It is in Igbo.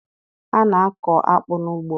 A na-akọ akpụ n'ugbo.